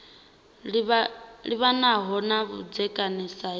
livhanaho na vhudzekani sa hezwi